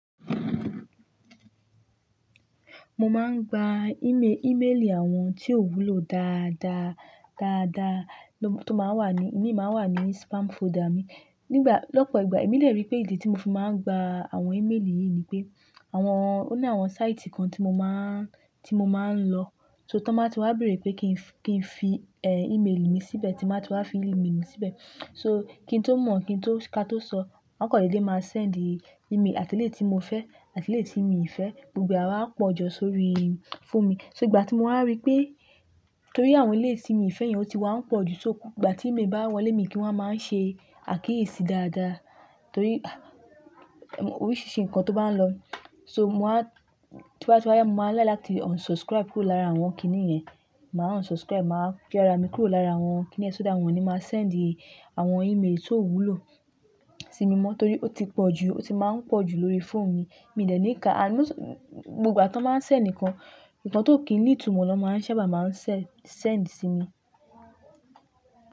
Mo máa ń gba íme-ímélì àwọn tí ò wúlò dáadaa, dáadaa ló tó máa ń wà ní, ìmi máa ń wà ní spam folder mi. Nígbà, lọ́pọ̀ ìgbà èmi lè rí pé ìdí tí mo fi máa ń gba àwọn ímélì yìí ni pé àwọn, ó ní àwọn sáìtì kan tí mo máa ń, tí mo máa ń lọ, so tí wọ́n bá ti wá bèrè pé kí n, kí n fi, ẹ́, ímélì mi síbẹ̀, tí ba ti wá fi ímélì mi síbẹ̀. So kí n tó mọ̀, kí n tó ka tó sọ, wón á kàn dédé máa sẹ́ẹ̀ndī ímélì àtì eléyití mo fẹ́, àtì éleyii tí mi ì fẹ́, gbogbo e àwa pọ̀ jọ sórí fóòmì. So ìgbà tí mo wá rí pé torí àwọn éleyi tí èmi ì fẹ́ yẹn ó ti wá ń pọ̀ jù, so gbogbo ìgbà tí ímélì bá wọlé, èmi kí wọ́n máa ń ṣe àkíyèsí dáadaa torí oríṣìíríṣìí nǹkan tó bá ń lọ. So mo máa, tóba wá yá, mo máa láaiki láti unsubscribe kúrò lára àwọn kíní yẹn. Mà á unsubscribe, mà á fi ara mi kúrò lára àwọn kíní yẹn so that wọn ni máa sẹ́ẹ̀ndì àwọn ímélì tó wúlò sí mi mọ́ torí ó ti pọ̀ jù, ó ti máa ń pọ̀ jù lórí fóònu mi. Mi dẹ̀ ní ká, ànd, gbogbo tí wón báa ń sẹ́ndi nkan, nǹkan tó kì í ní ìtumọ̀ lọ́ máa ń sábà máa ń sẹ́, sẹ́ẹ̀ndì sí mi.